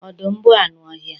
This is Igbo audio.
Ọdụm bụ anụ ọhịa